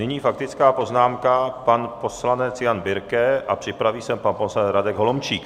Nyní faktická poznámka pan poslanec Jan Birke a připraví se pan poslanec Radek Holomčík.